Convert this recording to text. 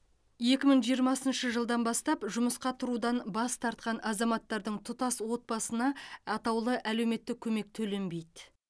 екі мың жиырмасыншы жылдан бастап жұмысқа тұрудан бас тартқан азаматтардың тұтас отбасына атаулы әлеуметтік көмек төленбейді